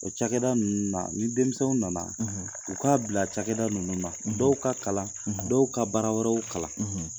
O cakɛda ninnu na ni denmisɛnw nana u k'a bila cakɛda ninnu na dɔw ka kalan dɔw ka bara wɛrɛw kalan.